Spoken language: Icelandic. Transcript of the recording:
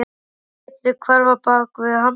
Lét sig hverfa bak við handriðið.